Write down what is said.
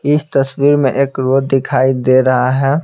इस तस्वीर में एक रोड दिखाई दे रहा है।